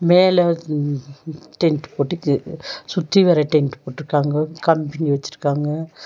மேல ம் டென்ட் போட்டு து சுத்தி வர டென்ட் போட்டிருக்காங்க கம்பினி வச்சிருக்காங்க.